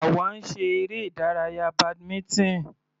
Àwa ń ṣe eré ìdárayá badminton.